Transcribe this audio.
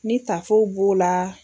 Ni taafow b'o la.